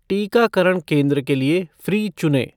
टीकाकरण केंद्र के लिए फ़्री चुनें।